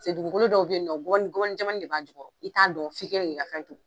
Dugukolo dɔw be yen nɔn gɔbɔni gɔbɔni jɛmanni de b'a jukɔrɔ i t'a dɔn fi kɛlen k'i ka fɛn turu.